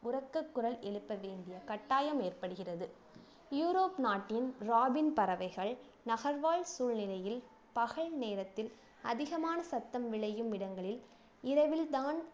உரக்க குரல் எழுப்ப வேண்டிய கட்டாயம் ஏற்படுகிறது யுரோப் நாட்டின் ராபின் பறவைகள் நகர்வாழ் சூழ்நிலையில் நேரத்தில் அதிகமான சத்தம் விளையும் இடங்களில் இரவில்தான்